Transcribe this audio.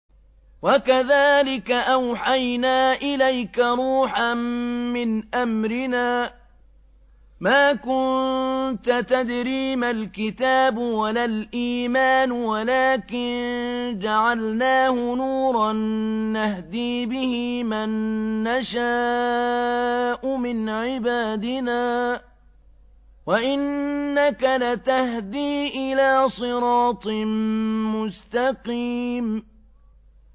وَكَذَٰلِكَ أَوْحَيْنَا إِلَيْكَ رُوحًا مِّنْ أَمْرِنَا ۚ مَا كُنتَ تَدْرِي مَا الْكِتَابُ وَلَا الْإِيمَانُ وَلَٰكِن جَعَلْنَاهُ نُورًا نَّهْدِي بِهِ مَن نَّشَاءُ مِنْ عِبَادِنَا ۚ وَإِنَّكَ لَتَهْدِي إِلَىٰ صِرَاطٍ مُّسْتَقِيمٍ